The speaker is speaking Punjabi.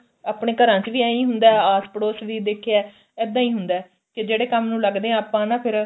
ਆਪਣੇ ਘਰਾਂ ਚ ਵੀ ਇਹੀ ਹੁੰਦਾ ਆਸ ਪੜੋਸ ਵੀ ਦੇਖਿਆ ਇੱਦਾਂ ਹੀ ਹੁੰਦਾ ਕੀ ਜਿਹੜੇ ਕੰਮ ਨੂੰ ਲੱਗਦੇ ਆ ਆਪਾਂ ਨਾ ਫ਼ਿਰ